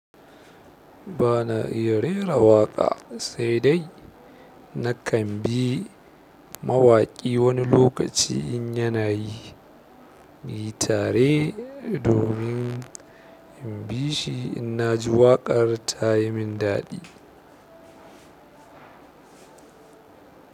Ba na iya rera waƙa, sai dai na kan bi mawaƙi wani lokaci in yana yi. Yi tare domin in bi shi in na ji waƙar ta yi min daɗi.